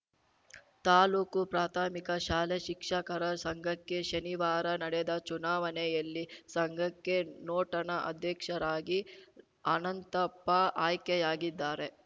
ತಾಲೂಕು ಪ್ರಾಥಮಿಕ ಶಾಲೆ ಶಿಕ್ಷಕರ ಸಂಘಕ್ಕೆ ಶನಿವಾರ ನಡೆದ ಚುನಾವಣೆಯಲ್ಲಿ ಸಂಘಕ್ಕೆ ನೂಟನ ಅಧ್ಯಕ್ಷರಾಗಿ ಅನಂತಪ್ಪ ಆಯ್ಕೆಯಾಗಿದ್ದಾರೆ